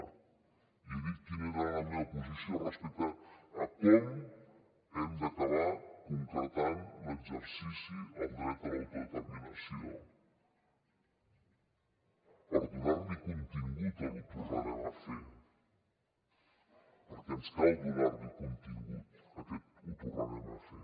jo he dit quina era la meva posició respecte a com hem d’acabar concretant l’exercici al dret a l’autodeterminació per donar li contingut al ho tornarem a fer perquè ens cal donar li contingut a aquest ho tornarem a fer